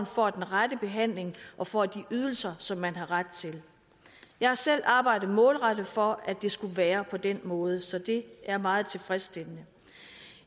får den rette behandling og får de ydelser som man har ret til jeg har selv arbejdet målrettet for at det skal være på den måde så det er meget tilfredsstillende